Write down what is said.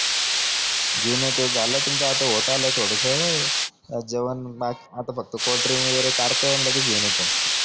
घेऊन येतो झालं तुमचं आता होत आलं थोडसं जेवणआता फक्त कोल्ड्रिंक वगेरे काढतो न लगेच घेऊन येतो